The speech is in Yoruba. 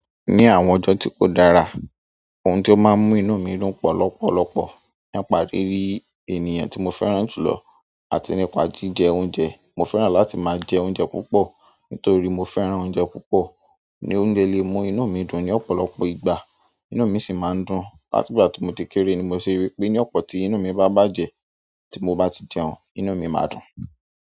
Ní àwọn ọjọ́ ti ko dára, ohun ti o máa n mú inú mi dùn pọ̀ lọ́pọ̀lọ́pọ̀ nipá riri ènìyàn ti mo fẹ́ràn jùlọ àti nípa jíjẹ oúnjẹ. Mo fẹ́ràn láti máa jẹ oúnjẹ púpọ̀ nítorí mo fẹ́ràn oúnjẹ púpọ̀. Ni oúnjẹ le mú inú mi dùn ni ọ̀pọ̀lọpọ̀ ìgbà, inú mi sì máa ń dùn. Látigbà tí mo ti kéré ni mo se rí pé ní ọ̀pọ̀ tí inú mi bá bàjẹ́, tí mo bá ti jẹun, inú mi máa dùn.